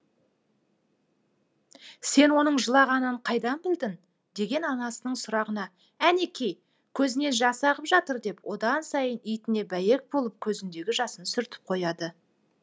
сен оның жылағанын қайдан білдің деген анасының сұрағына әнеки көзінен жас ағып жатыр деп одан сайын итіне бәйек болып көзіндегі жасын сүртіп қояды